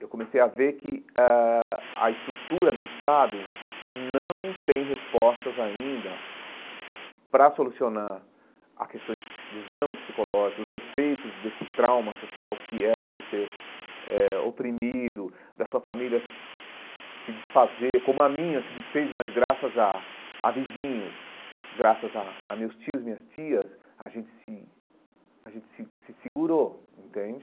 Eu comecei a ver que eh a estrutura do Estado não tem respostas ainda para solucionar a questões psi dos dramas psicológicos, dos efeitos desse trauma social que é você ser eh oprimido, da sua família se desfazer, como a minha se desfez, mas graças a a vizinhos, graças a a meus tios, minhas tias, a gente se a gente se se segurou, entende?